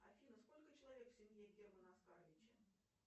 афина сколько человек в семье германа оскаровича